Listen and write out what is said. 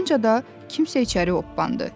Ardınca da kimsə içəri oppandı.